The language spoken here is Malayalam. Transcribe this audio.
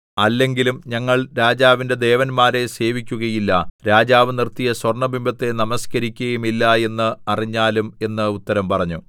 അല്ലെങ്കിലും ഞങ്ങൾ രാജാവിന്റെ ദേവന്മാരെ സേവിക്കുകയില്ല രാജാവ് നിർത്തിയ സ്വർണ്ണബിംബത്തെ നമസ്കരിക്കുകയുമില്ല എന്ന് അറിഞ്ഞാലും എന്ന് ഉത്തരം പറഞ്ഞു